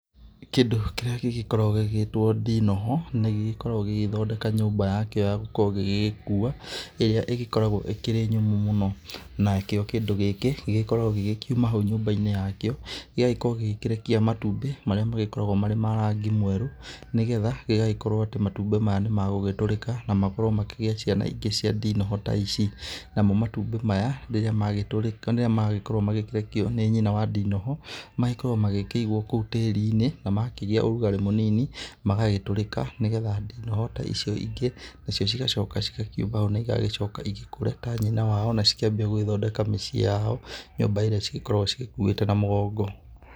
Kĩndũ kĩrĩa gĩgĩkoragwo gĩgĩtwo ndinoho nĩ gĩkoragwo gĩgĩthondeka nyũmba yakĩo yagũgĩkorwo gĩgĩkĩua ĩrĩa ĩgĩkoragwo ĩkĩrĩ nyũmũ mũno. Nakĩo kĩndũ gĩkĩ gĩgĩkorwgwo gĩkiuma hau nyũmba-inĩ yakĩo gĩgagĩkorwo gĩgĩkĩrekia matumbĩ marĩa magĩkoragwo marĩ ma rangi mwerũ. Nĩ getha gĩgagĩkorwo atĩ matumbĩ maya nĩ magũgĩtũrĩka na makorwo makĩgĩa ciana ingĩ cia ndinoho ta ici. Namo matumbĩ maya rĩrĩa magĩkorwo magĩkĩrekio nĩ nyina wa ndinoho magĩkoragwo magĩkĩigwo kũu tĩri-inĩ na makĩgia ũrugarĩ mũnini magagĩtũrĩka. Nĩ getha ndinoho ta icio ingĩ nacio cigacoka cigakiuma ho na igagĩcoka igĩkũre ta nyina wao na igagĩcoka igithondeke mĩciĩ yao nyũmba ĩrĩa cigĩkoragwo cigĩkuĩte na mũgongo.